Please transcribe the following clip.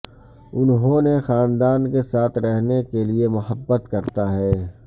انہوں نے خاندان کے ساتھ رہنے کے لئے محبت کرتا ہے